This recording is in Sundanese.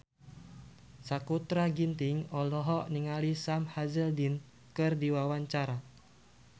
Sakutra Ginting olohok ningali Sam Hazeldine keur diwawancara